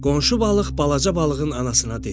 Qonşu balıq balaca balığın anasına dedi: